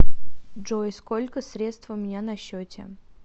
джой сколько средств у меня на счете